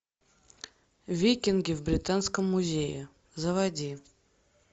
викинги в британском музее заводи